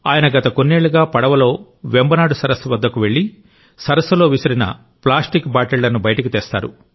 ఆయన గత కొన్నేళ్లుగా పడవలో వెంబనాడ్ సరస్సు వద్దకు వెళ్లి సరస్సులో విసిరిన ప్లాస్టిక్ బాటిళ్లను బయటకు తెస్తారు